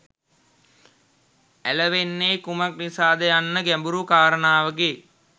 ඇලවෙන්නේ කුමක් නිසාද යන්න ගැඹුරු කාරණාවකි